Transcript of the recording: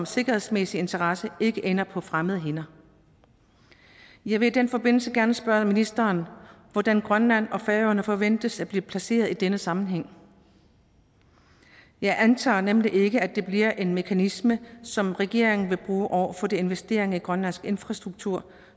sikkerhedsmæssig interesse ikke ender på fremmede hænder jeg vil i den forbindelse gerne spørge ministeren hvordan grønland og færøerne forventes at blive placeret i denne sammenhæng jeg antager nemlig ikke at det bliver en mekanisme som regeringen vil bruge over for de investeringer i grønlandsk infrastruktur